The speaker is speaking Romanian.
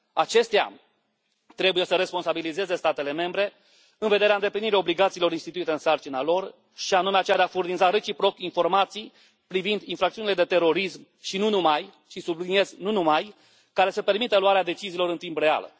Acestea trebuie să responsabilizeze statele membre în vederea îndeplinirii obligațiilor instituite în sarcina lor și anume aceea de a furniza reciproc informații privind infracțiuni de terorism și nu numai și, subliniez, nu numai, care să permită luarea deciziilor în timp real.